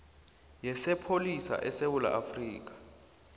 yesipholisa sesewula afrika